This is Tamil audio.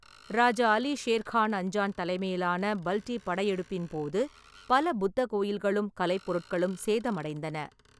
ராஜா அலி ஷேர் கான் அஞ்சான் தலைமையிலான பல்டி படையெடுப்பின் போது, பல புத்த கோயில்களும் கலைப்பொருட்களும் சேதமடைந்தன.